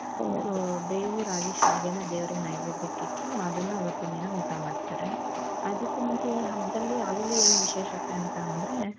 ಬೇವು ರಾಗಿ ಶಾವಿಗೆನ ದೇವರಿಗೆ ನೈವೆದ್ಯಾಕೆ ಇಟ್ಟು ಅದುನ್ನ ಅವತಿಂದಿನ ಊಟ ಮಾಡ್ತಾರೆ ಅದುಕು ಮುಂಚೆ ಈ ಹಬ್ಬದಲ್ಲಿ ಅಲ್ಲಿ ಏನು ವಿಶೇಷತೆ ಅಂದ್ರೆ.